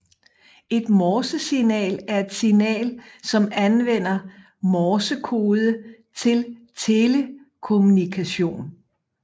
Et Morsesignal er et signal som anvender Morsekode til telekommunikation